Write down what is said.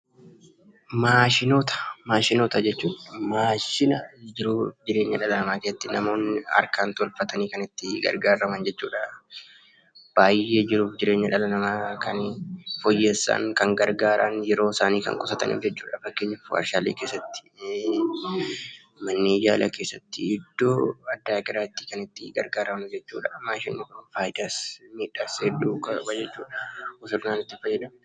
Maashinoota jechuun maashina jiruu jireenya dhala namaa keessatti namoonni harkaan tolfatanii kan itti gargaaraman jechuudha. Jiruu fi jireenya dhala namaa baay'ee kan fooyyessanii fi gargaaran, yeroo isaanii kan qusataniif jechuudha. Fakkeenyaaf: waarshaalee keessatti, manneen yaalaa keessatti, iddoo addaa garaatti kan itti gargaaramnu jechuudha. Maashinoonni faayidaa fi miidhaa hedduu qabu jechuudha.